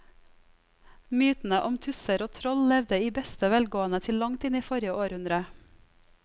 Mytene om tusser og troll levde i beste velgående til langt inn i forrige århundre.